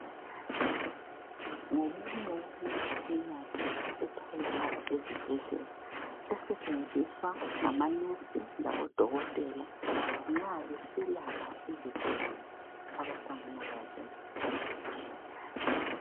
Ngomunye wemimtshina etholakala ezibhedlela esentshenziswa ngamanesi labo dokotela nxa beselapha izigulani abahlangana lazo.